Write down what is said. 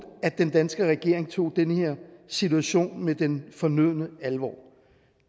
at den danske regering tog den her situation med den fornødne alvor